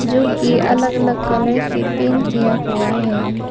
जो कि अलग अलग कलर से पेंट किया हुआ है।